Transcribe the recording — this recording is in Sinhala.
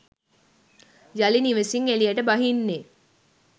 යළි නිවෙසින් එළියට බහින්නේ